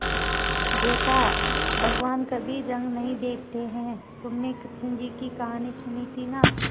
बेटा भगवान कभी रंग नहीं देखते हैं तुमने कृष्ण जी की कहानी सुनी थी ना